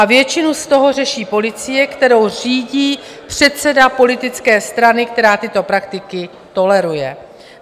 A většinu z toho řeší policie, kterou řídí předseda politické strany, která tyto praktiky toleruje.